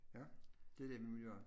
Ja det er det vi må gøre